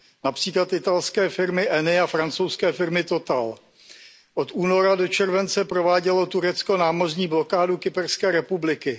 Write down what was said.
Například italské firmy Eni a francouzské firmy Total. Od února do července provádělo Turecko námořní blokádu Kyperské republiky.